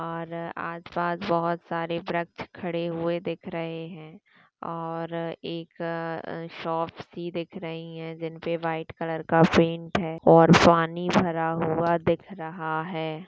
और आस पास बहुत सारे वृक्ष खड़े हुए दिख रहे है और एक--अ शॉप सी दिख रही है जिनपे व्हाईट कलर का पेंट है और पानी भरा हुआ दिख रहा है।